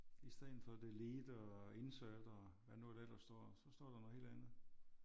I stedet for delete og insert og hvad nu der ellers står så står der noget helt andet